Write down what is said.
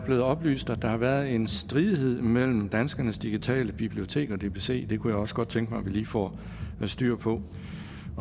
mig oplyst at der har været en stridighed mellem danskernes digitale bibliotek og dbc det kunne jeg også godt tænke mig at vi lige får styr på